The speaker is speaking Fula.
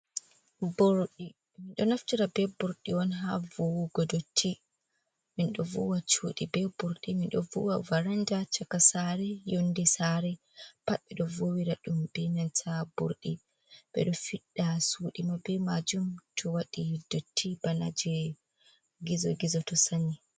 Burdi minɗo naftira be burɗi on ha vuwugo dotti, min do vuwa cuɗi be burdi minɗo vuwa varanda chaka sare yonde sare pat ɓeɗo vuwira ɗum be nanta burɗi ɓeɗo fidda suɗi maɓɓe majum to waɗi dotti bana je gizo gizo to sanyi.